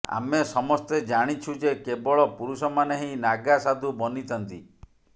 ଆମେ ସମସ୍ତେ ଜାଣିଛୁ ଯେ କେବଳ ପୁରୁଷମାନେ ହିଁ ନାଗା ସାଧୁ ବନିଥାନ୍ତି